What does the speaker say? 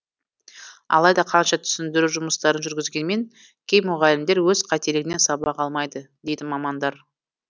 алайда қанша түсіндіру жұмыстарын жүргізгенмен кей мұғалімдер өз қателігінен сабақ алмайды дейді мамандар